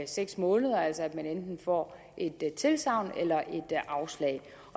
seks måneder altså at man enten får et tilsagn eller et afslag